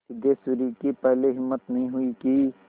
सिद्धेश्वरी की पहले हिम्मत नहीं हुई कि